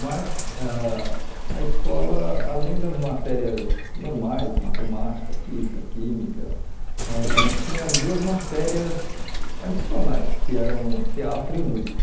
Mas ãh a escola, além das matérias normais, matemática, física, química, eh tinha duas matérias adicionais, que eram teatro e música.